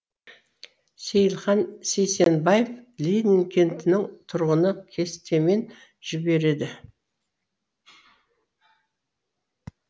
сейілхан сейсенбаев ленин кентінің тұрғыны кестемен жібереді